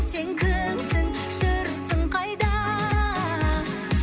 сен кімсің жүрсің қайда